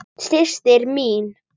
Systir mín.